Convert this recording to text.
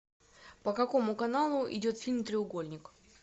по какому каналу идет фильм треугольник